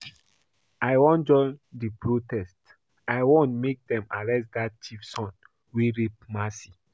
I wan join the protest, I wan make dem arrest dat Chief son wey rape Mercy